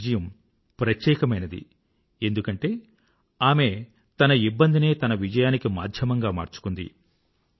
ఆమె విజయం ప్రత్యేకమైనది ఎందుకంటే ఆమె తన ఇబ్బందినే తన విజయానికి మాధ్యమంగా మార్చుకుంది